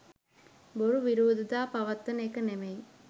බොරු විරෝධතා පවත්වන එක නෙමෙයි.